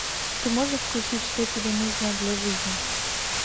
ты можешь включить что тебе нужно для жизни